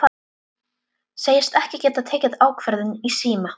Segist ekki geta tekið ákvörðun í síma.